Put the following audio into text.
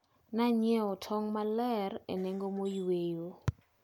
Ne anyiewo tong` maler e nengo moyweyo.